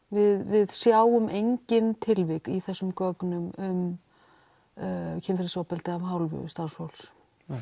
við sjáum engin tilvik í þessum gögnum um kynferðisofbeldi að hálfu starfsfólks